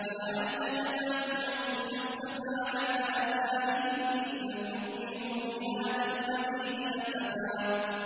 فَلَعَلَّكَ بَاخِعٌ نَّفْسَكَ عَلَىٰ آثَارِهِمْ إِن لَّمْ يُؤْمِنُوا بِهَٰذَا الْحَدِيثِ أَسَفًا